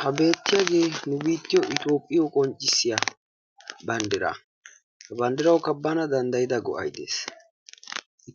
Ha beettiyagee nu biittiyo Toophphiyo qonccissiya banddiraa. He banddirawukka bana dabddayida go'ay de'ees.